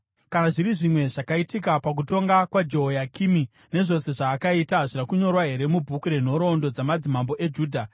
Kana zviri zvimwe zvakaitika pakutonga kwaJehoyakimi, nezvose zvaakaita, hazvina kunyorwa here mubhuku renhoroondo dzamadzimambo eJudha?